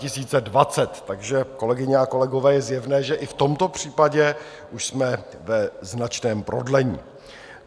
Takže, kolegyně a kolegové, je zjevné, že i v tomto případě už jsme ve značném prodlení.